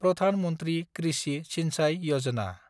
Pradhan Mantri Krishi Sinchayee Yojana